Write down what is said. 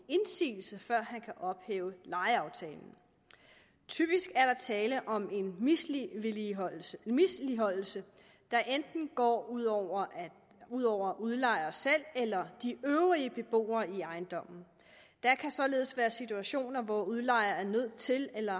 ophæve lejeaftalen typisk er der tale om en misligholdelse misligholdelse der enten går ud over ud over udlejer selv eller de øvrige beboere i ejendommen der kan således være situationer hvor udlejer er nødt til eller